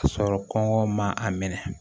Ka sɔrɔ kɔngɔ ma a minɛ